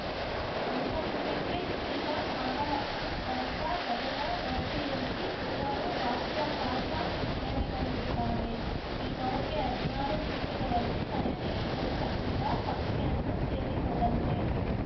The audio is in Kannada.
ಅಂತರಿಕ್ಷಕ್ಕೆ ಜಿಗಿದ ಮಾನವಸಹಿತ ಗಗನ ನೌಕೆಯಲ್ಲಿ ಮೂವರು ಬಾಹ್ಯಾಕಾಶ ವಿಜ್ಞಾನಿಗಳಿರುತ್ತಾರೆ ಈ ನೌಕೆ ಹದಿನಾರು ನಿಮಿಷಗಳಲ್ಲಿ ತನಗೆ ನಿಗದಿಪಡಿಸಿದ ಕಕ್ಷೆಯನ್ನು ಸೇರಿಕೊಳ್ಳಲಿದೆ